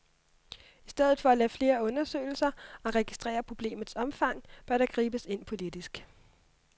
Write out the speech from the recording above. I stedet for at lave flere undersøgelser og registrere problemets omfang, bør der gribes ind politisk.